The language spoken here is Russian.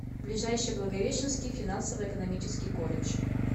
ближайший благовещенский финансово экономический колледж